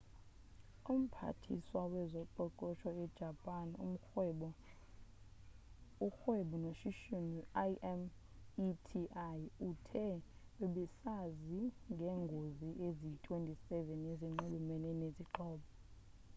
umphathiswa wezoqoqosho ejapan urhwebo noshishino imeti uthe bebesazi ngeengozi eziyi-27 ezinxulumene nezixhobo